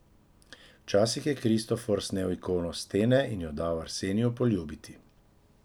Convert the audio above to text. Včasih je Kristofor snel ikono s stene in jo dal Arseniju poljubiti.